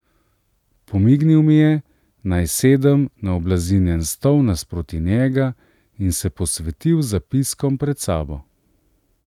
Pomignil mi je, naj sedem na oblazinjen stol nasproti njega, in se posvetil zapiskom pred sabo.